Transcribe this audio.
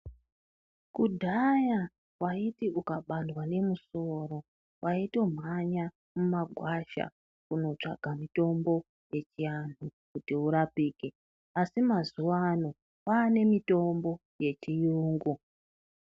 Kudhaya waiti ukabandwa ngemusoro waitomhanya mumagwasha kunotsvaka mutombo wechiantu kuti urapike asi mazuwano kwane mitombo yechiyungu.